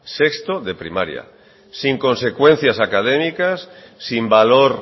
sin consecuencias académicas sin valor